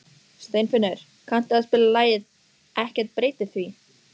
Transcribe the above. Steinfinnur, kanntu að spila lagið „Ekkert breytir því“?